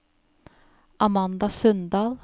Amanda Sundal